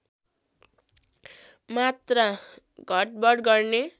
मात्रा घटबढ गर्ने